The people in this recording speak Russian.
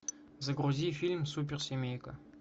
загрузи фильм суперсемейка